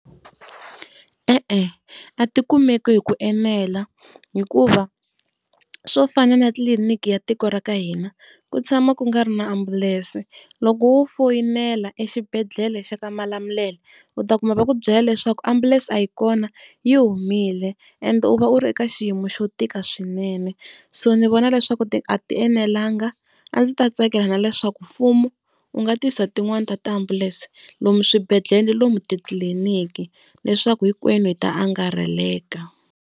E-e a tikumeki hi ku enela, hikuva swo fana na tliliniki ya tiko ra ka hina ku tshama ku nga ri na ambulense. Loko wu foyinela exibedhlele xa ka Malamulele u ta kuma va ku byela leswaku ambulense a yi kona yi humile, and u va u ri eka xiyimo xo tika swinene. So ndzi vona leswaku a tienelanga a ndzi ta tsakela na leswaku mfumo u nga tisa tin'wani ta tiambulense lomu swibedhlele na lomu titliliniki leswaku hinkwenu hi ta angarheleka.